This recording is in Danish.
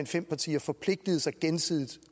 fem partier forpligtet sig gensidigt